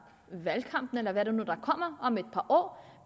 valgkampen eller hvad der nu kommer om et par år